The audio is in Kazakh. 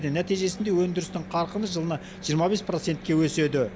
нәтижесінде өндірістің қарқыны жылына жиырма бес процентке өседі